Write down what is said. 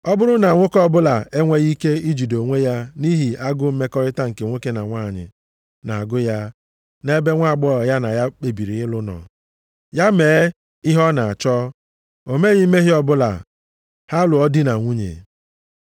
Ọ bụrụ na nwoke ọbụla enweghị ike ijide onwe ya nʼihi agụụ mmekọrịta nke nwoke na nwanyị na-agụ ya nʼebe nwaagbọghọ ya na ya kpebiri ịlụ nọ, ya mee ihe ọ na-achọ, o meghị mmehie ọbụla, ha lụọ di na nwunye.